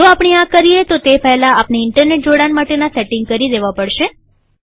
જો આપણે આ કરીએતો તે પહેલા આપણે ઈન્ટરનેટ જોડાણ માટેના સેટિંગ કરી દેવા પડશે